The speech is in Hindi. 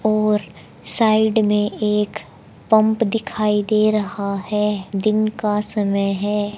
और साइड में एक पंप दिखाई दे रहा है दिन का समय है।